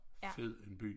Fed en by